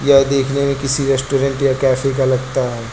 यह देखने में किसी रेस्टोरेंट या कैफे का लगता है।